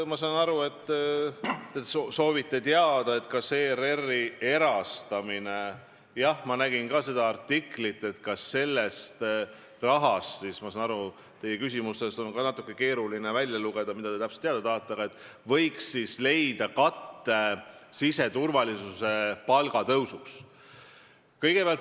Ma saan aru , et te soovite teada, kas ERR-i erastamise rahast – jah, ma nägin seda artiklit – võiks leida katte palgatõusule siseturvalisuse valdkonnas.